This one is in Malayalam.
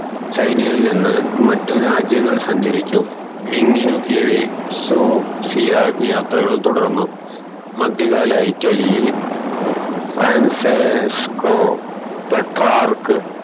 ചൈനയിൽ നിന്ന് മറ്റു രാജ്യങ്ങൾ സഞ്ചരിച്ചു കീഴിൽ സൊഫീയ യാത്രകൾ തുടർന്നു മദ്യ കാല ഇറ്റലിൽ ഫ്രാൻസിസ്‌കോ പെട്രാർക്